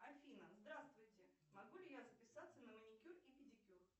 афина здравствуйте могу ли я записаться на маникюр и педикюр